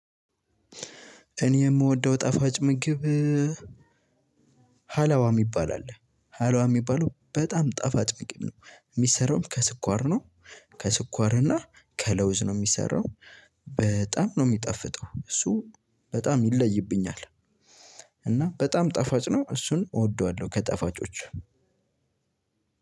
እኔ የምወደው ጣፋጭ ምግብ ሃላዋ የሚባል አለ ሃላዋ የሚባለው በጣም ጣፋጭ ምግብ ነው የሚሰራውም ከስኳር ነው ከስኳር እና ከለውዝ ነው የሚሰራው። በጣም ነው የሚጣፍጠው እሱ በጣም ይለይብኛል። እና በጣም ጣፋጭ ነው እሱን እወደዋለሁ። ከጣፋጮች